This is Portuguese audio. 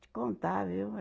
Te contar, viu?